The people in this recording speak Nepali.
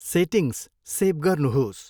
सेटिङ्ग्स सेभ गर्नुहोस्।